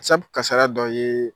Sabu kasara dɔ ye